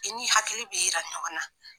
I ni hakili b'i yira ɲɔgɔnna.